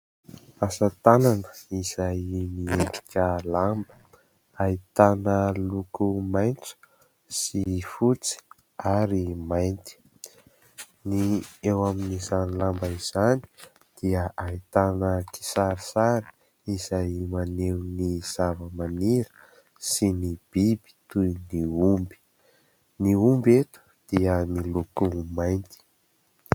Asa tànana izay miendrina lamba ahitana loko maintso sy fotsy ary mainty. Ny eo amin'izay lamba izany dia ahitana kisarisary izay maneho ny zava-maniry sy ny biby toy ny omby. Ny omby eto dia nolokoiny mainty.